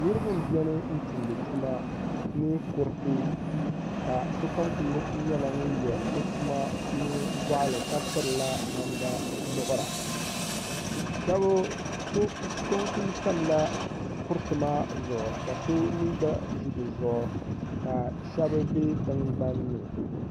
Niri ba n beni tumdi tuma ni kuriti ka so kam kuli nyela ŋun ye o tuma ni gɔɣli ka pirila namda muɣ'ra. So n kuli tamla kiriti maa zuɣu ka so mi gba ʒɛ dizuɣu ka shebi be tingban ni.